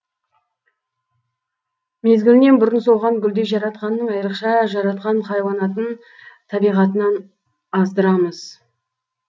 мезгілінен бұрын солған гүлдей жаратқанның айрықша жаратқан хайуанатын табиғатынан аздырамыз